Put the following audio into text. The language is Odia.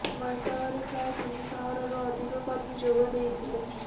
ବୈଠକରେ ପ୍ରାୟ ତିନି ଶହରୁ ଅଧିକ କର୍ମୀ ଯୋଗ ଦେଇଥିଲେ